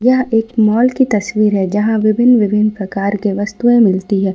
यह एक मॉल की तस्वीर है जहां विभिन्न विभिन्न प्रकार के वस्तुएं मिलती है।